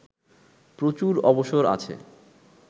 প্রচুর অবসর আছে